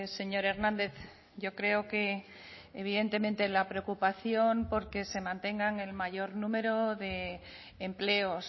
señor hernández yo creo que evidentemente la preocupación porque se mantengan el mayor número de empleos